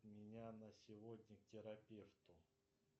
меня на сегодня к терапевту